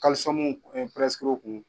Kalusɔmuw o kun.